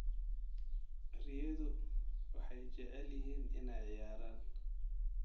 Riyadu waxay jecel yihiin inay ciyaaraan.